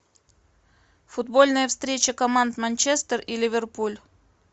футбольная встреча команд манчестер и ливерпуль